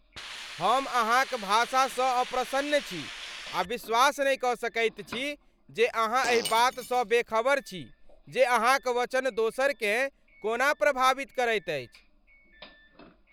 हम अहाँक भाषासँ अप्रसन्न छी आ विश्वास नहि कऽ सकैत छी जे अहाँ एहि बातसँ बेखबर छी जे अहाँक वचन दोसरकेँ कोना प्रभावित करैत अछि।